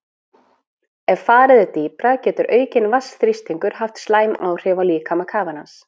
Ef farið er dýpra getur aukinn vatnsþrýstingur haft slæm áhrif á líkama kafarans.